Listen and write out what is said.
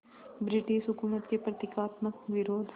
British हुकूमत के प्रतीकात्मक विरोध